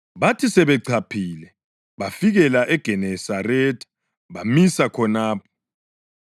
Bathi sebechaphile, bafikela eGenesaretha bamisa khonapho.